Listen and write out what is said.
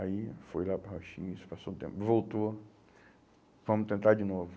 Aí foi lá para o raio - xis, passou um tempo, voltou, vamos tentar de novo.